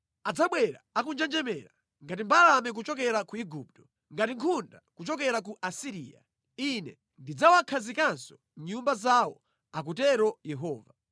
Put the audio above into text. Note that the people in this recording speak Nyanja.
Adzabwera akunjenjemera ngati mbalame kuchokera ku Igupto, ngati nkhunda kuchokera ku Asiriya. Ine ndidzawakhazikanso mʼnyumba zawo,” akutero Yehova.